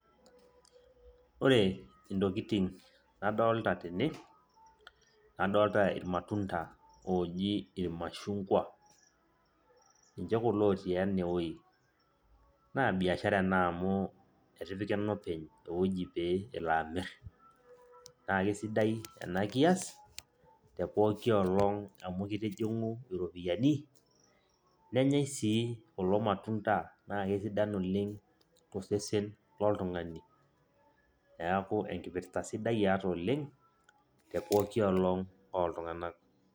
Ore intokiting nadolta tene, adolta irmatunda oji irmashungwa. Ninche kulo otii enewoi. Naa biashara ena amu etipika enopeny ewoji pee elo amir. Na kesidai enakias, te pooki olong' amu kitijing'u iropiyiani, nenyai si kulo matunda ,na kesidan oleng tosesen loltung'ani. Neeku enkipirta sidai eeta oleng, te pooki olong' oltung'anak.